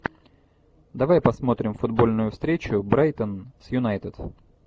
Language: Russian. давай посмотрим футбольную встречу брайтон с юнайтед